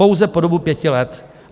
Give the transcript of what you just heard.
Pouze po dobu pěti let.